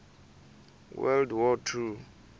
world war two